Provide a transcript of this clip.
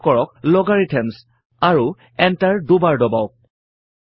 type কৰক Logarithms আৰু Enter দুবাৰ দবাওক